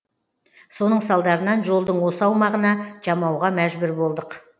соның салдарынан жолдың осы аумағына жамауға мәжбүр болдық